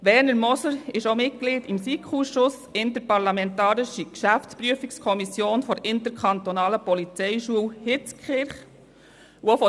Werner Moser ist auch Mitglied des SiK-Ausschusses Interparlamentarische Geschäftsprüfungskommission der Interkantonalen Polizeischule Hitzkirch (SiK-IPK-IPH).